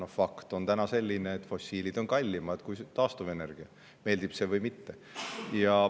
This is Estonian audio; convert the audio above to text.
Ja fakt on see, et fossiil on tänapäeval kallimad kui taastuvenergia, meeldib see meile või mitte.